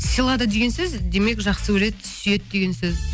сыйлады деген сөз демек жақсы көреді сүйеді деген сөз